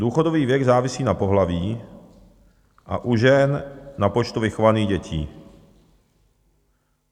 Důchodový věk závisí na pohlaví a u žen na počtu vychovaných dětí.